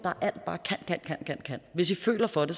er kan hvis i føler for det